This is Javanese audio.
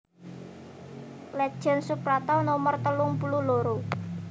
Let Jend Suprapto nomer telung puluh loro